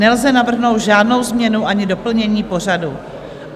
Nelze navrhnout žádnou změnu ani doplnění pořadu.